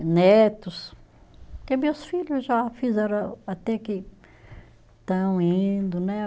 E netos, que meus filho já fizeram a, até que estão indo, né?